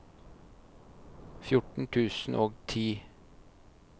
fjorten tusen og ti